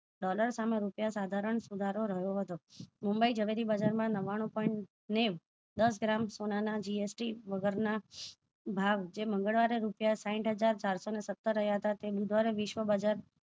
dollar સામે રૂપિયા સાધારણ સુધારો રહ્યો હતો મુંબઈ જવેરી બજાર માં નવાણું point નેવું દસ ગ્રામ સોના ના GST વગર ના ભાવ જે મંગલવારે રૂપિયા સાહીઠ હજાર ચારસો ને સત્તર રહ્યા હતા બુધવારે વિશ્વ બજાર